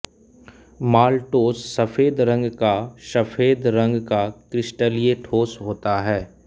maltose सफेद रंग का सफेद रंग का क्रिस्टलीय ठोस होता है